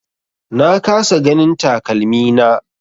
Na kasa ganin takalmina.